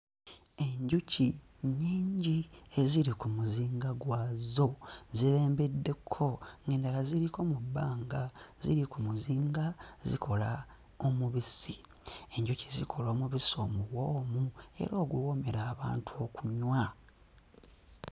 Enjuki nnyingi eziri ku muzinga gwazo zibembeddeko ng'endala ziriko mu bbanga ziri ku muzinga zikola omubisi enjuki zikola omubisi omuwoomu era oguwoomera abantu okunywa.